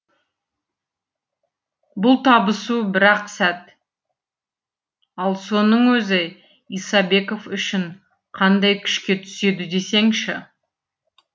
бұл табысу бір ақ сәт ал соның өзі исабеков үшін қандай күшке түседі десеңші